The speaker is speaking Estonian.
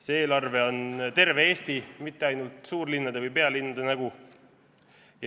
See eelarve on terve Eesti, mitte ainult suurlinnade või pealinna nägu.